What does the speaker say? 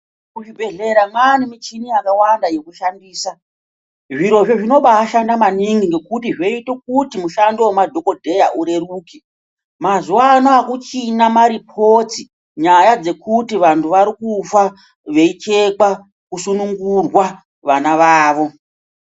Muzvibhehlera mwaane michini yakawanda yekubaashandisa zvirozvo zvinobaadiwa maningi nekuti zvoite kuti mushando wemadhokodheya ureruke. Mazuvaanaya akuchina maripoti nyaya dzekuti vantu varikufa veichekwa kusunungurwa vana vavo.